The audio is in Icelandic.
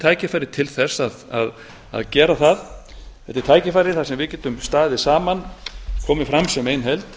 tækifæri til þess að gera það þetta er tækifæri þar sem við getum staðið saman komið fram sem ein heild